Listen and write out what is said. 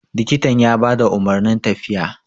likitan ya ba da umarnin tafiya